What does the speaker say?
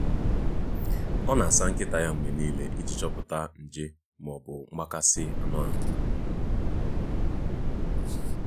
ọ na-asa nkịta ya mgbe niile iji chọpụta nje ma ọ bụ mgbakasị anụ ahụ.